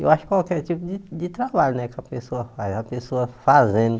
Eu acho que qualquer tipo de de trabalho né que a pessoa faz, a pessoa fazendo...